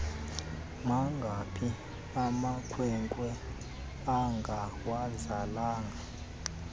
mangaphi amakwenkwe angawazalanga